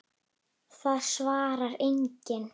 Það svarar enginn